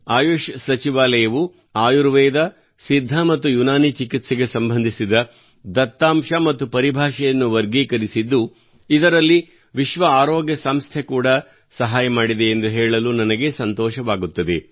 ಆಯುಷ್ ಸಚಿವಾಲಯವು ಆಯುರ್ವೇದ ಸಿದ್ಧ ಮತ್ತು ಯುನಾನಿ ಚಿಕಿತ್ಸೆಗೆ ಸಂಬಂಧಿಸಿದ ದತ್ತಾಂಶ ಮತ್ತು ಪರಿಭಾಷೆಯನ್ನು ವರ್ಗೀಕರಿಸಿದ್ದು ಇದರಲ್ಲಿ ವಿಶ್ವ ಆರೋಗ್ಯ ಸಂಸ್ಥೆ ಕೂಡಾ ಸಹಾಯ ಮಾಡಿದೆ ಎಂದು ಹೇಳಲು ನನಗೆ ಸಂತೋಷವಾಗುತ್ತದೆ